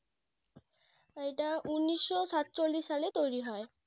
এইটা উন্নিশশো সাতচল্লিশ সালে তৈরী হয়